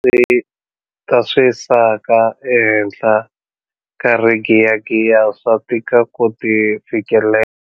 Ta swisaka ehenhla ka rigiyagiya swa tika ku ti fikelela.